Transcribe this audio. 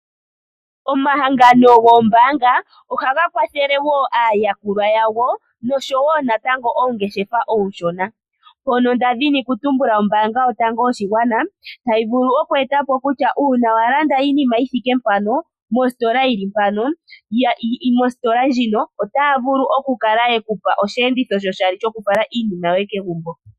Omahangano goombaanga ohaga kwathele woo aayakulwa yawo nosho wo natango oongeshefa ooshona. Mpono nda dhini ku tumbula ombaanga yotango yoshigwana tayi vulu okweetapo kutya uuna wa landa iinima yithike mpano, mositola yili mpano, mositola ndjino otaya vulu okukala yeku pa osheenditho sho shali shoku fala iinima yoye kegumbo.